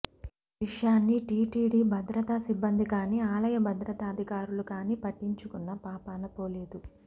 ఈ విషయాన్ని టీటీడీ భద్రతా సిబ్బంది కాని ఆలయ భద్రతాధికారులు కాని పట్టించుకున్న పాపాన పోలేదు